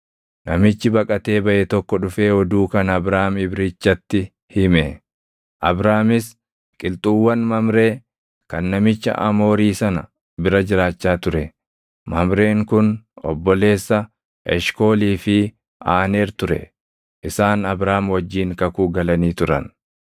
Namichi baqatee baʼe tokko dhufee oduu kana Abraam Ibrichatti hime. Abraamis qilxuuwwan Mamree kan namicha Amoorii sana bira jiraachaa ture; Mamreen kun obboleessa Eshkoolii fi Aaneer ture; isaan Abraam wajjin kakuu galanii turan.